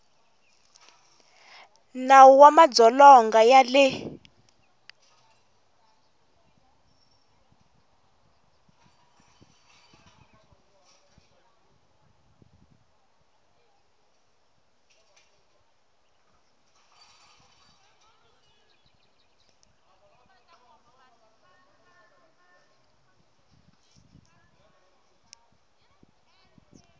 nawu wa madzolonga ya le